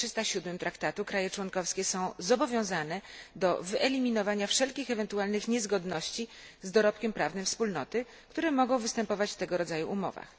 307 Traktatu WE, kraje członkowskie są zobowiązane do wyeliminowania wszelkich ewentualnych niezgodności z dorobkiem prawnym Wspólnoty, które mogą występować w tego rodzaju umowach.